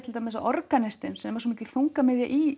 að organistinn sem er svo mikil þungamiðja í